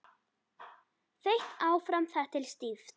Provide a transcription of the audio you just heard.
Þeytt áfram þar til stíft.